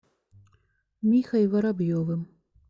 михой воробьевым